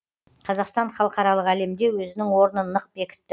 қазақстан халықаралық әлемде өзінің орнын нық бекітті